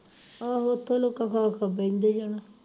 ਆਹੋ ਉਥੇ ਲੋਕਾਂ ਕੋਲੋ ਖਾ ਖਾ ਬਹਿੰਦੇ ਜਾਣਾ